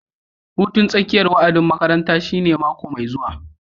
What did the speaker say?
Hutun tsakiyar wa'adin makaranta shine mako mai zuwa